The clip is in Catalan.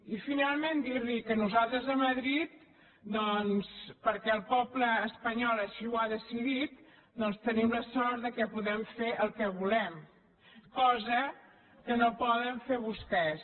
i finalment dir·li que nosaltres a madrid doncs perquè el poble espanyol així ho ha decidit tenim la sort que podem fer el que volem cosa que no poden fer vostès